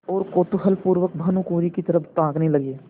और कौतूहलपूर्वक भानुकुँवरि की तरफ ताकने लगे